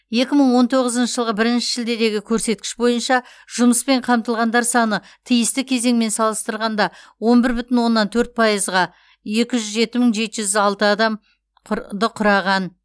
екі мың он тоғызыншы жылғы бірінші шілдедегі көрсеткіш бойынша жұмыспен қамтылғандар саны тиісті кезеңмен салыстырғанда он бір бүтін оннан төрт пайызға екі жүз жеті мың жеті жүз алты адам құр ды құраған